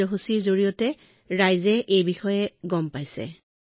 হয় মহোদয় প্ৰধানমন্ত্ৰীৰ মন কী বাত কাৰ্যসূচীৰ পৰা সকলোৱে পদুম আঁহৰ বিষয়ে জানে